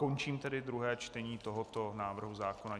Končím tedy druhé čtení tohoto návrhu zákona.